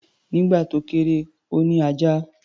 Nígbà tó kéré, ó ní ajá.